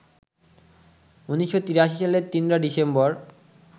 ১৯৮৩ সালের ৩রা ডিসেম্বর